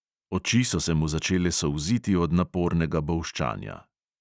Oči so se mu začele solziti od napornega bolščanja.